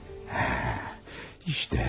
Bax, hamısı budur.